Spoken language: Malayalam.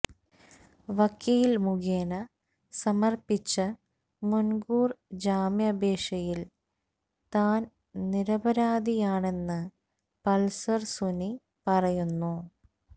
വക്കീൽ മുഖേന സമർപ്പിച്ച മുൻകൂർ ജാമ്യഅപേക്ഷയിൽ തൻ നിരപരാധിയാണെന്ന് പൾസർ സുനി പറയുന്നു